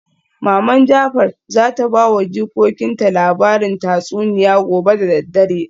Maman jafar zata bawa jikokinta labarin tatsuniya gobe da daddare